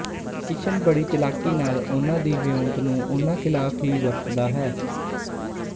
ਕਿਸ਼ਨ ਬੜੀ ਚਾਲਾਕੀ ਨਾਲ ਉਹਨਾਂ ਦੀ ਵਿਓਂਤ ਨੂੰ ਉਨ੍ਹਾਂ ਖਿਲਾਫ਼ ਹੀ ਵਰਤਦਾ ਹੈ